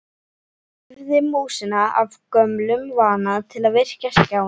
Hreyfði músina af gömlum vana til að virkja skjáinn.